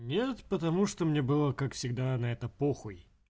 нет потому что мне было как всегда на это по хуй